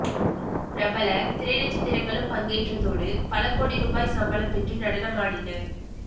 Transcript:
பிரபல திரை நட்சத்திரங்களும் பங்கேற்றதோடு பலகோடி ரூபாய் சம்பளம் பெற்று நடனமாடினர்